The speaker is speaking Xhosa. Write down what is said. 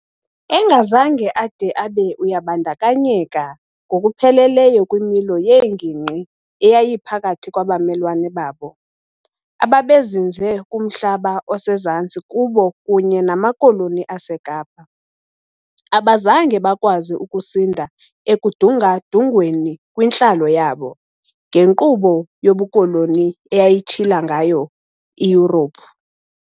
Engazange ade abe ayabandakanyeka ngokupheleleyo kwimilo yeengingqi eyayiphakathi kwabamelwane babo ababezinze kumhlaba osezantsi kubo kunye namaKoloni aseKapa, abazange bakwazi ukusinda ekudunga-dungweni kwintlalo yabo ngenkqubo yobukoloni eyayitshila ngayo iYurophu.